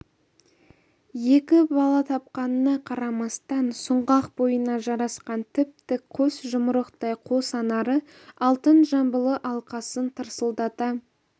екі бала тапқанына қарамастан сұңғақ бойына жарасқан тіп-тік қос жұмырықтай қос анары алтын жамбылы алқасын тырсылдата